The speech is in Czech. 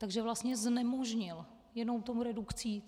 Takže vlastně znemožnil jenom tou redukcí...